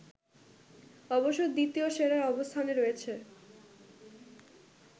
অবশ্য দ্বিতীয় সেরার অবস্থানে রয়েছে